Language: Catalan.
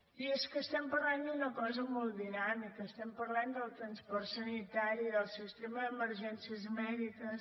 i és que estem parlant d’una cosa molt dinàmica estem parlant del transport sanitari del sistema d’emergències mèdiques